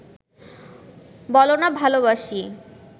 বলনা ভালোবাসি